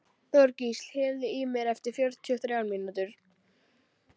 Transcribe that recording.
Þorgísl, heyrðu í mér eftir fjörutíu og þrjár mínútur.